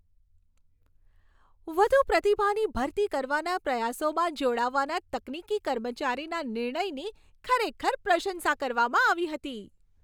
વધુ પ્રતિભાની ભરતી કરવાના પ્રયાસોમાં જોડાવાના તકનીકી કર્મચારીના નિર્ણયની ખરેખર પ્રશંસા કરવામાં આવી હતી.